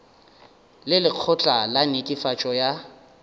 le lekgotla la netefatšo ya